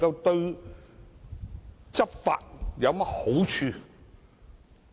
對執法有何好處呢？